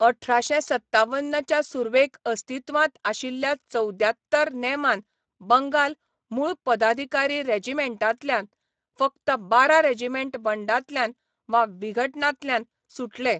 अठराशें सत्तावन च्या सुर्वेक अस्तित्वांत आशिल्ल्या चवद्यांत्तर नेमान बंगाल मुळ पदाधिकारी रेजिमेंटांतल्यान फकत बारा रेजिमेंट बंडांतल्यान वा विघटनांतल्यान सुटले.